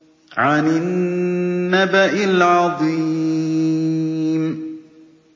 عَنِ النَّبَإِ الْعَظِيمِ